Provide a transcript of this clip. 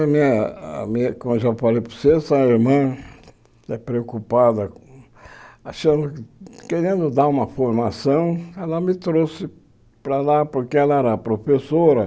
A minha a minha como eu já falei para você, a irmã, preocupada, achando querendo dar uma formação, ela me trouxe para lá porque ela era professora.